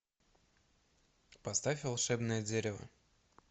поставь волшебное дерево